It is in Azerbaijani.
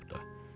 olubdur.